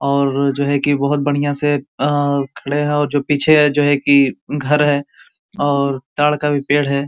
और जो है की बहुत बढ़ियां से अअअ खड़े हैं पीछे जो है की घर है और तार का भी पेड़ है।